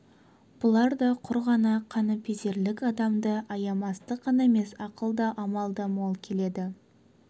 бұларда да құр ғана қаныпезерлік адамды аямастық қана емес ақыл да амал да мол келеді